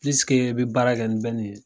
i bi baara kɛ ni ye